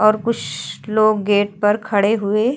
और कुस लोग गेट पर खड़े हुए --